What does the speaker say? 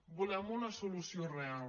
volem una solució real